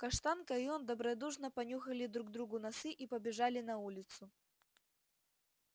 каштанка и он добродушно понюхали друг другу носы и побежали на улицу